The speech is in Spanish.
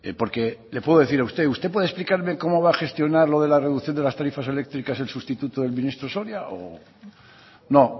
porque le puedo decir a usted usted puede explicarme cómo va a gestionar lo de la reducción de las tarifas eléctricas el sustituto del ministro soria